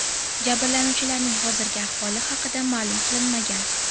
Jabrlanuvchilarning hozirgi ahvoli haqida ma’lum qilinmagan.